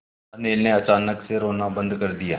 अनिल ने अचानक से रोना बंद कर दिया